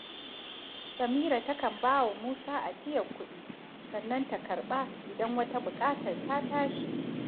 Samira ta kan ba wa Musa ajiyar kuɗi, sannan ta karɓa idan wata buƙar ta tashi